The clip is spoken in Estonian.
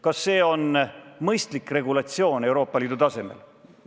Kas see on mõistlik regulatsioon Euroopa Liidu tasemel?